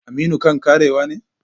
Aminu kan karewa ne?